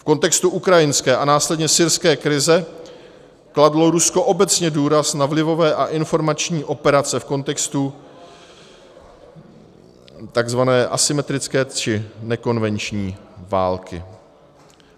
V kontextu ukrajinské a následně syrské krize kladlo Rusko obecně důraz na vlivové a informační operace v kontextu takzvané asymetrické či nekonvenční války.